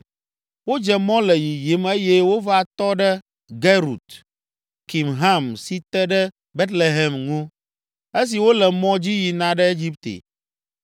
Wodze mɔ le yiyim eye wova tɔ ɖe Gerut Kimham si te ɖe Betlehem ŋu, esi wole mɔ dzi yina ɖe Egipte